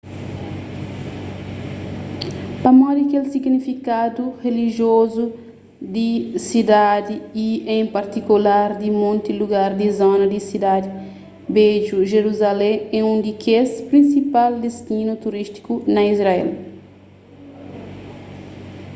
pamodi kel signifikadu rilijiozu di sidadi y en partikular di monti lugar di zona di sidadi bedju jeruzalém é un di kes prinsipal distinu turístiku na israel